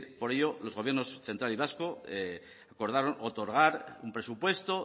por ello el gobierno central y vasco acordaron otorgar un presupuesto